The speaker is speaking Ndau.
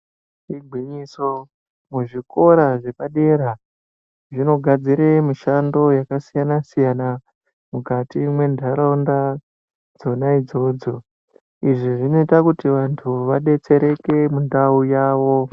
Igwinyiso muzvikora zvepadera zvinogadzire mishando yakasiyana mukati mwendaraunda idzodzo idzi dzinoita kuti vandu vadetsereke muntau yavo.